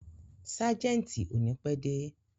Ságẹ̀ntì ò ní pẹ́ dé.